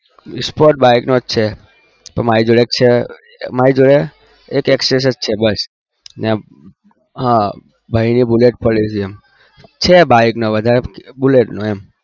sports bike નો છે મારી જોડે એક હ મારી જોડે access હ ભાઈ ની bullet પડી છે છે બાઈક નો પણ વધારે bullet નો